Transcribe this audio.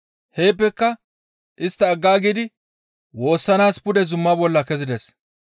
Heeppeka istta aggaagidi woossanaas pude zuma bolla kezides.